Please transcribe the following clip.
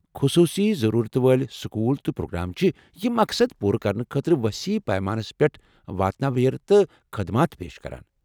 خصوصی ضرورتہٕ وٲلۍ سکول تہٕ پروگرام چھِ یہ مقصد پورٕ کرنہٕ خٲطرٕ وسیع پیمانس پیٹھ واتناویر تہٕ خدمات پیش کران ۔